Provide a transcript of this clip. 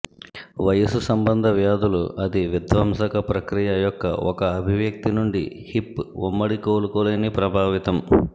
వయసు సంబంధ వ్యాధులు అది విధ్వంసక ప్రక్రియ యొక్క ఒక అభివ్యక్తి నుండి హిప్ ఉమ్మడి కోలుకోలేని ప్రభావితం